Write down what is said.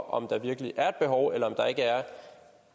om der virkelig er et behov eller